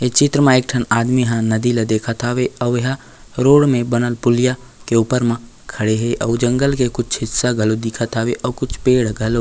ए चित्र म एक ठन आदमी ह नदी ल देखत हवे अऊ एहा रोड में बनत पुलिया के ऊपर में खड़े हे अऊ जंगल के कुछ हिस्सा घलो दिखत हवे अऊ पेड़ घलो--